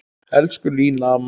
Elsku Lína amma.